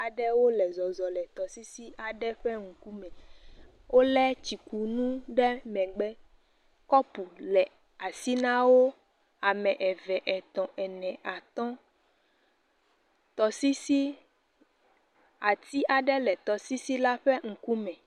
Aɖewo le zɔzɔ le tɔsisi aɖe ƒe ŋkume. Wolé tsikune ɖe megbe. Kɔpu le asi na wo, ame eve, etɔ̃, ene, atɔ. Tɔsisi, ati aɖe le tɔsisi la ƒe ŋkume.